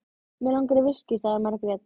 Mig langar í viskí, sagði Margrét.